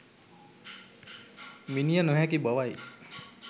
මිණිය නොහැකි බවයි.